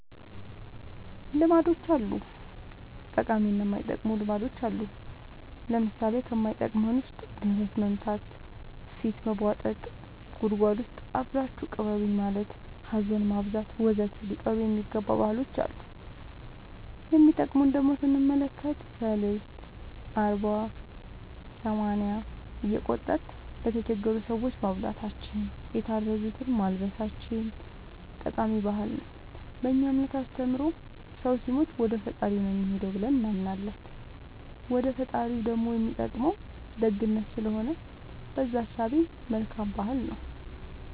ልማዶች አሉ ጠቃሚ እና የማይጠቅሙ ልማዶች አሉን ለምሳሌ ከማይጠቅመን ውስጥ ደረት መምታ ፊት መቦጠጥ ጉድጎድ ውስጥ አብራችሁኝ ቅበሩኝ ማለት ሀዘን ማብዛት ወዘተ ሊቀሩ የሚገባ ባህሎች አሉ የሚጠቅሙን ደሞ ስንመለከት ሰልስት አርባ ሰማንያ እየቆጠርን ለተቸገሩ ሰዎች ማብላታችን የታረዙትን ማልበሳችን ጠቃሚ ባህል ነው በእኛ እምነት አስተምሮ ሰው ሲሞት ወደፈጣሪው ነው የሚሄደው ብለን እናምናለን ወደ ፈጣሪው ደሞ የሚጠቅመው ደግነት ስለሆነ በእዛ እሳቤ መልካም ባህል ነው